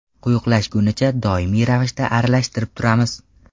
Quyuqlashgunicha, doimiy ravishda aralashtirib turamiz.